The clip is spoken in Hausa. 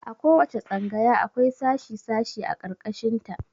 A ko wace tsangaya akwai sashi sashi a ƙarƙashin ta.